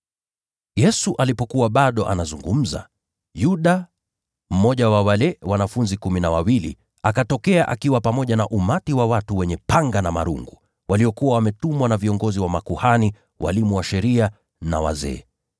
Yesu alipokuwa bado anazungumza, Yuda, mmoja wa wale wanafunzi Kumi na Wawili, akatokea. Alikuwa amefuatana na umati wa watu wenye panga na marungu, waliokuwa wametumwa na viongozi wa makuhani, walimu wa sheria, na wazee.